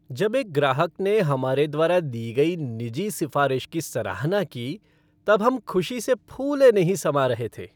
जब एक ग्राहक ने हमारे द्वारा दी गई निजी सिफ़ारिश की सराहना की तब हम ख़ुशी से फूले नहीं समा रहे थे।